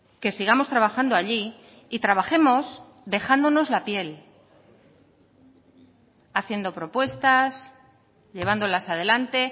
que sigamos trabajando allí y trabajemos dejándonos la piel haciendo propuestas llevándolas adelante